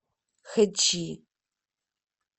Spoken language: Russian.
хэчи